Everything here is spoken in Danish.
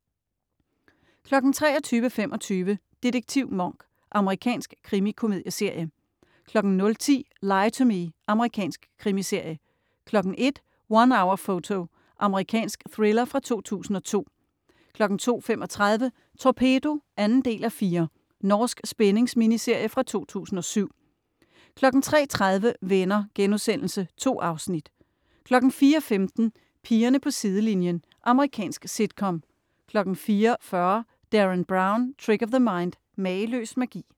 23.25 Detektiv Monk. Amerikansk krimikomedieserie 00.10 Lie to Me. Amerikansk krimiserie 01.00 One Hour Photo. Amerikansk thriller fra 2002 02.35 Torpedo 2:4. Norsk spændings-miniserie fra 2007 03.30 Venner.* 2 afsnit 04.15 Pigerne på sidelinjen. Amerikansk sitcom 04.40 Derren Brown - Trick of The Mind. Mageløs magi